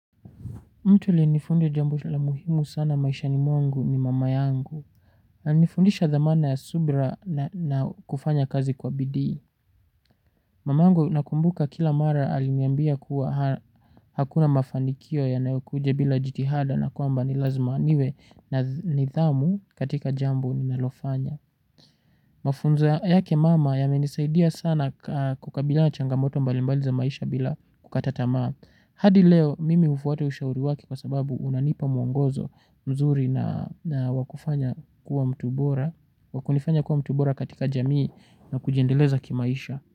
Mtu alinifunza jambo la muhimu sana maishani mwangu ni mama yangu. Alinifundisha dhamana ya subira na kufanya kazi kwa bidii. Mama yangu nakumbuka kila mara aliniambia kuwa hakuna mafanikio yanayokuja bila jitihada na kwamba ni lazima niwe na nidhamu katika jambo ninalofanya. Mafunzo yake mama yamenisaidia sana kukabiliana na changamoto mbalimbali za maisha bila kukata tamaa. Hadi leo mimi hufuata ushauri wake kwa sababu unanipa mwongozo mzuri na wa kufanya kuwa mtu bora katika jamii na kujiendeleza kimaisha.